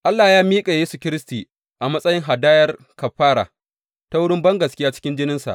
Allah ya miƙa Yesu Kiristi a matsayin hadayar kafara, ta wurin bangaskiya cikin jininsa.